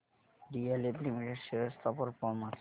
DLF limited shares चा performance